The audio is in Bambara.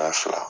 fila